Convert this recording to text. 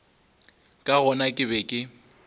ka gona ke be ke